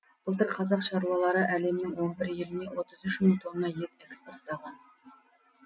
былтыр қазақ шаруалары әлемнің он еліне отыз үш мың тонна ет экспорттаған